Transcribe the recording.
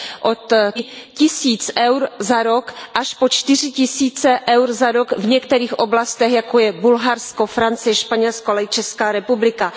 Od třiceti, čtyřiceti tisíc eur za rok až po čtyři tisíce eur za rok v některých oblastech, jako je Bulharsko, Francie, Španělsko, ale i Česká republika.